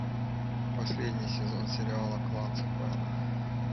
последний сезон сериала клан сопрано